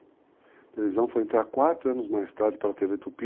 A televisão foi entrar quatro anos mais tarde para a TV Tupi.